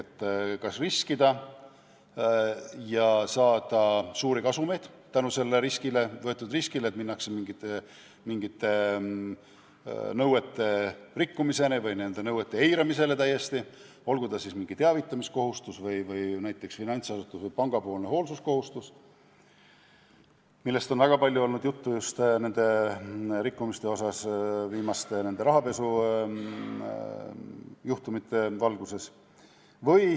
Vaadatakse, kas kasumlikum on riskida ja saada tänu võetud riskile suuri kasumeid, seetõttu hakatakse mingeid nõudeid rikkuma või neid täiesti eirama, olgu see siis mingi teavitamiskohustus või näiteks finantsasutuse, panga hoolsuskohustus, millest on väga palju olnud juttu just viimaste rahapesujuhtumite valguses.